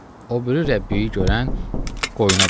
O biri Rəbbiyi görən qoyuna baxa.